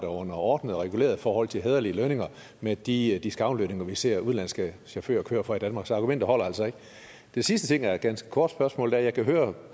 under ordnede og regulerede forhold til hæderlige lønninger med de discountlønninger vi ser udenlandske chauffører kører for i danmark så argumentet holder altså ikke den sidste ting er et ganske kort spørgsmål da jeg kan høre